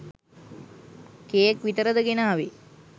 Cake විතරද ගෙනාවේ?